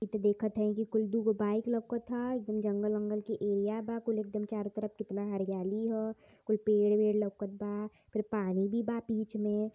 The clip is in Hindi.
इ त देखत हइ कि कुल दुगो बाइक लोकथा ह एकदम जंगल वंगल के एरिया बा कुल एकदम चारो तरफ कितना हरियाली ह कुल पेड़ वेड़ लौकत बा फिर पानी भी बा बीच में --